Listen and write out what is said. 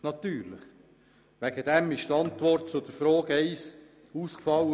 Dementsprechend ist die Antwort zur Frage 1 ausgefallen.